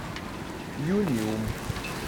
юниум